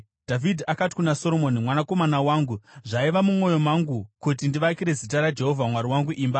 Dhavhidhi akati kuna Soromoni, “Mwanakomana wangu zvaiva mumwoyo mangu kuti ndivakire Zita raJehovha Mwari wangu imba.